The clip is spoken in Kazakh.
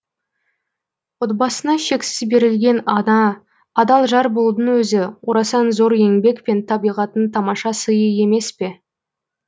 отбасына шексіз берілген ана адал жар болудың өзі орасан зор еңбек пен табиғаттың тамаша сыйы емес пе